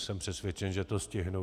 Jsem přesvědčen, že to stihnu.